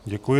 Děkuji.